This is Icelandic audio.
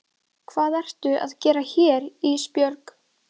Hvað ertu að gera hérna Ísbjörg?